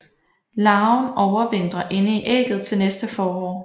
Larven overvintrer inde i ægget til næste forår